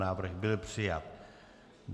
Návrh byl přijat.